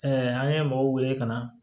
an ye mɔgɔw wele ka na